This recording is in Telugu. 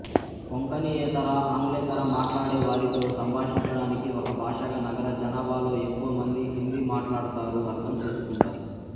కొంకణియేతర ఆంగ్లేతర మాట్లాడే వారితో సంభాషించడానికి ఒక భాషగా నగర జనాభాలో ఎక్కువ మంది హిందీ మాట్లాడతారు అర్థం చేసుకుంటారు